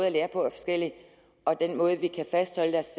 at lære på er forskellig og den måde hvorpå vi kan fastholde deres